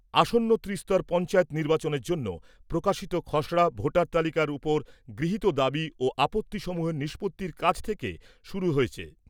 আসন্ন ত্রিস্তর পঞ্চায়েত নির্বাচনের জন্য প্রকাশিত খসড়া ভোটার তালিকার উপর গৃহীত দাবি ও আপত্তি সমূহের নিষ্পত্তির কাজ আজ থেকে শুরু হয়েছে।